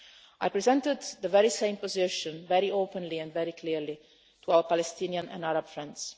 I presented the very same position, very openly and very clearly, to our Palestinian and Arab friends.